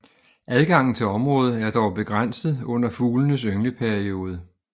Adgangen til området er dog begrænset under fuglenes yngleperiode